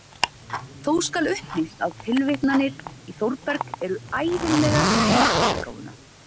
Þó skal upplýst að tilvitnanir í Þórberg eru ævinlega í heildarútgáfuna.